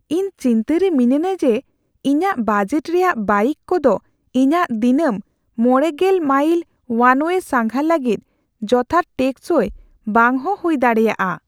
ᱤᱧ ᱪᱤᱱᱛᱟᱹᱨᱮ ᱢᱤᱱᱟᱹᱧᱟ ᱡᱮ ᱤᱧᱟᱹᱜ ᱵᱟᱡᱮᱴ ᱨᱮᱭᱟᱜ ᱵᱟᱭᱤᱠ ᱠᱚᱫᱚ ᱤᱧᱟᱹᱜ ᱫᱤᱱᱟᱹᱢ ᱕᱐ ᱢᱟᱭᱤᱞ ᱳᱣᱟᱱᱳᱭᱮ ᱥᱟᱸᱜᱷᱟᱨ ᱞᱟᱹᱜᱤᱫ ᱡᱚᱛᱷᱟᱛ ᱴᱮᱠᱥᱚᱭ ᱵᱟᱝᱦᱚᱸ ᱦᱩᱭ ᱫᱟᱲᱮᱭᱟᱜᱼᱟ